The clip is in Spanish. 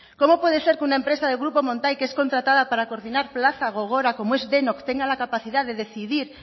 cómo puede ser que una empresa del grupo montai que es contratada para coordinar plaza gogora como es denok tenga la capacidad de decidir